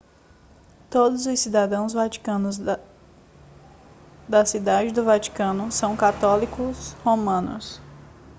todos os cidadãos da cidade do vaticano são católicos romanos